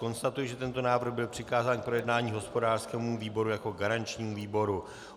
Konstatuji, že tento návrh byl přikázán k projednání hospodářskému výboru jako garančnímu výboru.